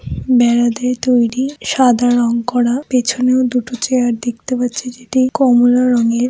বেড়া দিয়ে তৈরি সাদা রং করা পেছনেও দুটো চেয়ার দেখতে পাচ্ছি যেটি কমলা রঙের।